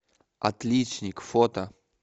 отличник фото